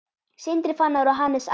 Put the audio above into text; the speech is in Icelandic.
Sindri Fannar og Hannes Adam.